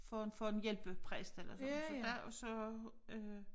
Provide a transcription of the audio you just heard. For for en hjælpepræst eller sådan så der og så øh